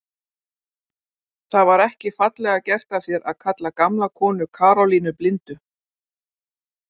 Það var ekki fallega gert af þér að kalla gamla konu Karólínu blindu